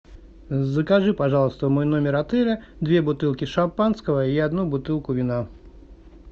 закажи пожалуйста в мой номер отеля две бутылки шампанского и одну бутылку вина